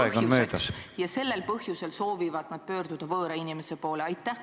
... võib olla stressi ja depressiooni põhjuseks, mistõttu soovivad nad pöörduda võõra inimese poole?